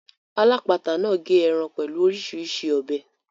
Alápatà náà gé ẹran pẹ̀lú orísirísi ọ̀bẹ.